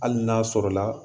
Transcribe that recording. Hali n'a sɔrɔ la